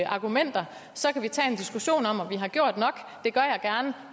argumenter så kan vi tage en diskussion om om vi har gjort nok det gør jeg gerne